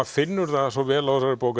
finnur það svo vel á þessari bók